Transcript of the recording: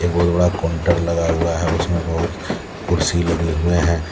बहुत बड़ा काउंटर लगा हुआ है उसमें बहुत कुर्सी लगे हुए हैं।